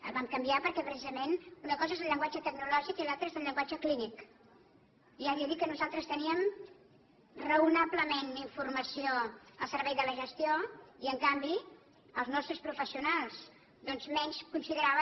el vam canviar perquè precisament una cosa és el llenguatge tecnològic i l’altra és el llenguatge clínic i ja li he dit que nosaltres te níem raonablement informació al servei de la gestió i en canvi els nos tres professionals doncs menys consideraven